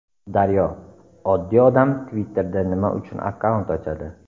Daryo: Oddiy odam Twitter’da nima uchun akkaunt ochadi?